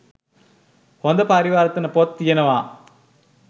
හොද පරිවර්තන පොත් තියෙනවා